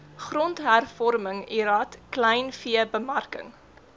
grondhervorming lrad kleinveebemarking